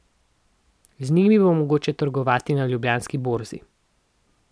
Z njimi bo mogoče trgovati na Ljubljanski borzi.